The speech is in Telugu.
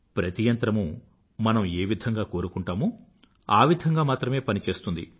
ప్రతి యంత్రమూ మనం ఏ విధంగా కోరుకుంటామో అలా మాత్రమే పని చేస్తుంది